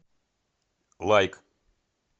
лайк